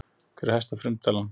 Hver er hæsta frumtalan?